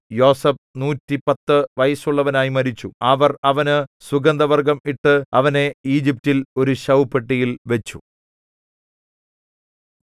യോസേഫ് നൂറ്റിപ്പത്തു വയസ്സുള്ളവനായി മരിച്ചു അവർ അവന് സുഗന്ധവർഗ്ഗം ഇട്ട് അവനെ ഈജിപ്റ്റിൽ ഒരു ശവപ്പെട്ടിയിൽ വച്ചു